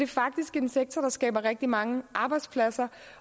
faktisk en sektor der skaber rigtig mange arbejdspladser